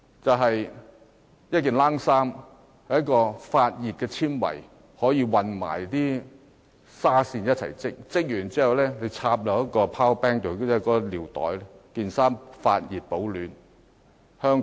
首先是發熱纖維，可以混合紗線一起織製成毛衣，完成後可連接一個 power bank， 令毛衣可以發熱保暖。